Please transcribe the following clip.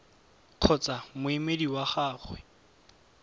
t kgotsa moemedi wa gagwe